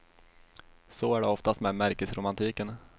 Så är det oftast med märkesromantiken.